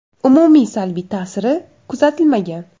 Umumiy salbiy ta’siri kuzatilmagan.